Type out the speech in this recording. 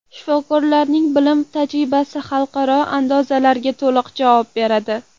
Shifokorlarning bilim va tajribasi xalqaro andozalarga to‘liq javob beradi.